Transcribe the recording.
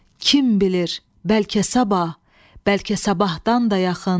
Kim bilir, bəlkə sabah, bəlkə sabahdan da yaxın.